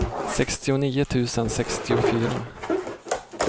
sextionio tusen sextiofyra